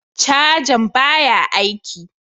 Cajan baya aiki.